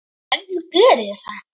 Hvernig geri ég það?